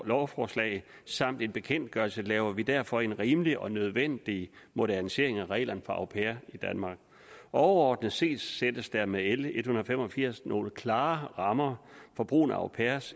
lovforslag samt en bekendtgørelse laver vi derfor en rimelig og nødvendig modernisering af reglerne for au pairer i danmark overordnet set sættes der med l en hundrede og fem og firs nogle klare rammer for brugen af au pairer